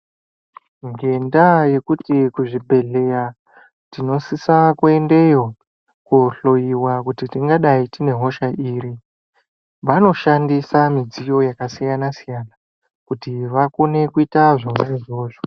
Nge nda yekuti kuzvi bhedhleya tino sisa ku endeyo ko ndhloyiwa kuti tingadai tine hosha iri vanoshandisa midziyo yaka siya siyana kuti vakone kuita zvona izvozvo.